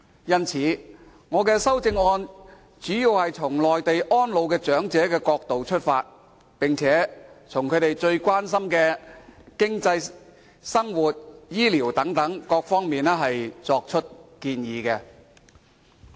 因此，我的修正案的主旨，是站在回鄉安老長者的角度，就他們最關心的經濟、生活、醫療等方面作出建議。